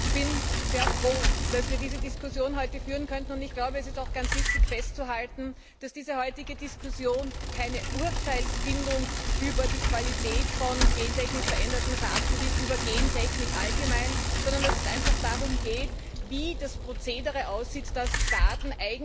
Ich bin sehr froh, dass wir diese Diskussion heute führen können, und ich glaube, es ist auch ganz wichtig, festzuhalten, dass diese heutige Diskussion keine Urteilsfindung über die Qualität von gentechnisch verändertem Saatgut ist, über Gentechnik allgemein, sondern dass es einfach darum geht, wie das Procedere aussieht, damit Staaten